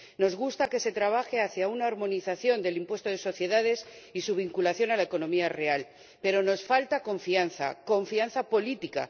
Nos gusta que se trabaje hacia una armonización del impuesto de sociedades y su vinculación a la economía real, pero nos falta confianza, confianza política.